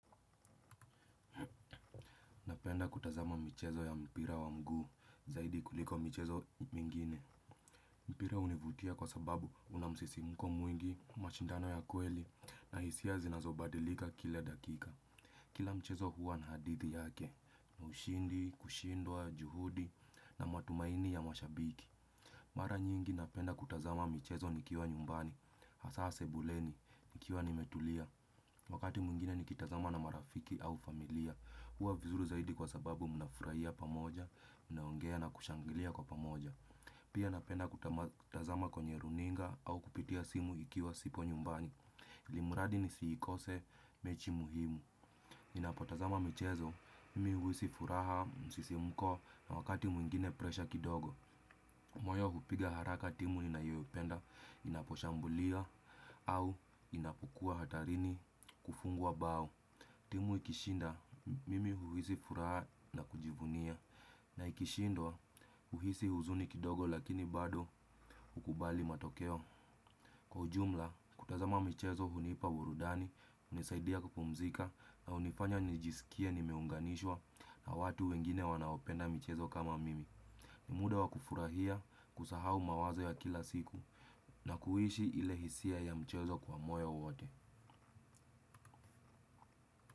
Napenda kutazama michezo ya mpira wa mguu zaidi kuliko michezo mingine. Mpira hunivutia kwa sababu una msisimko mwingi, mashindano ya kweli na hisia zinazobadilika kila dakika. Kila mchezo huwa na hadithi yake na ushindi, kushindwa, juhudi na matumaini ya mashabiki. Mara nyingi napenda kutazama michezo nikiwa nyumbani, hasa sebuleni, nikiwa nimetulia. Wakati mwingine nikitazama na marafiki au familia, huwa vizuri zaidi kwa sababu mnafurahia pamoja, mnaongea na kushangilia kwa pamoja. Pia napenda kutazama kwenye runinga au kupitia simu ikiwa sipo nyumbani, ilimradi nisiikose mechi muhimu. Ninapotazama michezo, mimi huhisi furaha, msisimko na wakati mwingine presha kidogo. Moyo hupiga haraka timu inayoipenda inaposhambulia au inapokuwa hatarini kufungwa bao. Timu ikishinda mimi huhisi furaha na kujivunia na ikishindwa huhisi huzuni kidogo lakini bado hukubali matokeo. Kwa ujumla, kutazama michezo hunipa burudani, hunisaidia kupumzika na hunifanya nijisikie nimeunganishwa na watu wengine wanaopenda michezo kama mimi. Ni muda wa kufurahia kusahau mawazo ya kila siku na kuishi ile hisia ya mchezo kwa moyo wote.